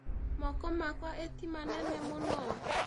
Moko makwa ĩ ti manene mũno?